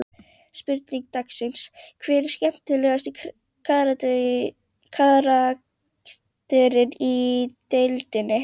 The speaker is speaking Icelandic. Spurning dagsins: Hver er skemmtilegasti karakterinn í deildinni?